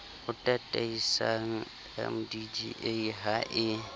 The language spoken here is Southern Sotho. o tataisang mdda ha e